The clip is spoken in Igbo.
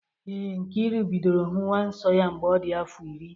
Ee, Nkiru bidoro hụwa nsọ mgbe ọ dị afọ iri